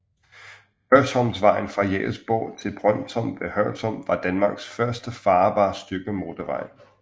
Hørsholmvejen fra Jægersborg til Brønsholm ved Hørsholm var Danmarks første farbare stykke motorvej